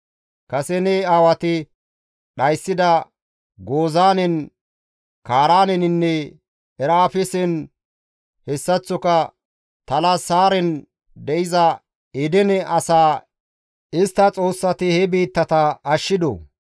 Kase ta aawati dhayssida Gozaanen, Kaaraaneninne Erafesen hessaththoka Talasaaren de7iza Edene asaa istta xoossati he biittata ashshidoo?